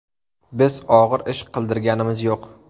Biz og‘ir ish qildirganimiz yo‘q.